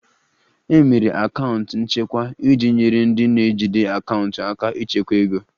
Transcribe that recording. E mere akaụntụ nchekwa iji nyere ndị na-ejide akaụntụ aka ịchekwa ego